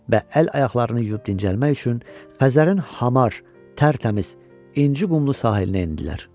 Və əl-ayaqlarını yuyub dincəlmək üçün Xəzərin hamar, tərtəmiz inci qumlu sahilinə endilər.